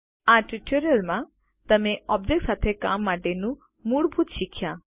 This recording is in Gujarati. આ ટ્યુટોરીયલમાં તમે ઓબ્જેક્ત્સ સાથે કામ માટેનું મૂળભૂત શીખ્યા